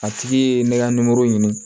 A tigi ye ne ka ɲini